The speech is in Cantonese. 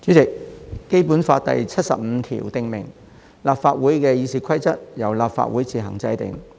主席，《基本法》第七十五條訂明："立法會議事規則由立法會自行制定"。